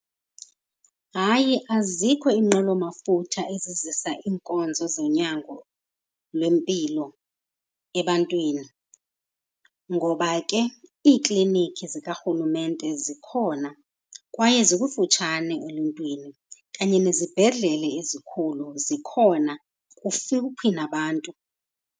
Hayi, azikho iinqwelomafutha ezizizisa iinkonzo zonyango lwempilo ebantwini. Ngoba ke iiklinikhi zikarhulumente zikhona kwaye zikufutshane eluntwini, kanye nezibhedlele ezikhulu zikhona kufuphi nabantu.